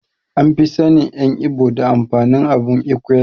An fi sannin en ibo da amfanin abun Ekwe.